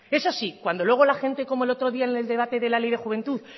eso sí cuando luego la gente como el otro día en el debate de la ley de juventud